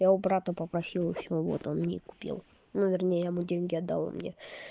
я у брата попросил у своего вот он мне купил ну вернее я ему деньги отдал он мне